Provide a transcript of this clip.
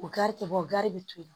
O gari tɛ bɔ gan de bɛ to yen